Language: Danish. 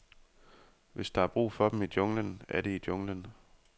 Hvis der er brug for dem i junglen, er de i junglen.